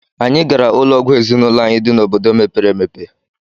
Anyị gara ụlọ ọgwụ ezinụlọ anyị dị n'obodo mepere emepe.